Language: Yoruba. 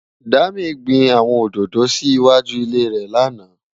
Dami gbin áwòn ódódó si iwájú ilé rè làná